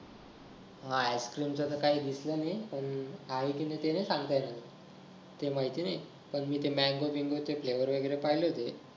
मला ice cream च तर काही दिसल नाही आहे की नाही ते नाही सांगता येत ते माहिती नाही पण ते mango बिंगो चे flavor पाहिले होते